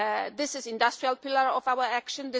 This is the industrial pillar of our action